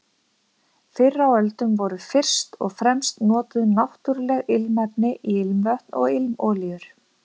Fyrr á öldum voru fyrst og fremst notuð náttúruleg ilmefni í ilmvötn og ilmolíur.